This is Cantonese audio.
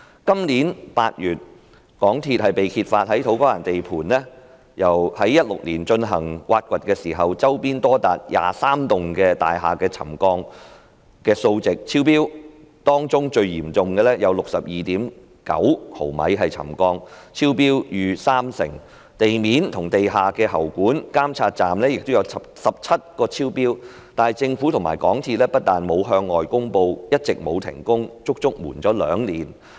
今年8月，港鐵公司被揭發在土瓜灣地盤於2016年進行挖掘時，周邊多達23幢大廈的沉降數值超標，當中最嚴重的有 62.9 毫米沉降，超標逾三成，地面及地下喉管的監測點亦有17個超標，但政府及港鐵公司不但沒有向外公布，一直沒有停工，更隱瞞了兩年。